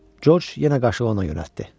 Corc yenə qaşığı ona yönəltdi.